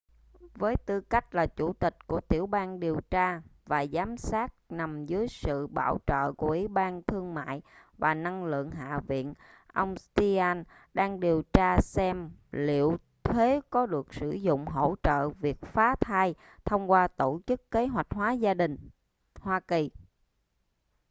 với tư cách là chủ tịch của tiểu ban điều tra và giám sát nằm dưới sự bảo trợ của ủy ban thương mại và năng lượng hạ viện ông stearns đang điều tra xem liệu thuế có được sử dụng hỗ trợ việc phá thai thông qua tổ chức kế hoạch hóa gia đình hoa kỳ